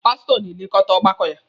Pasụtọ na-elekọta ọgbakọ ya.